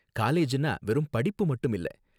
காலேஜ்னா வெறும் படிப்பு மட்டும் இல்ல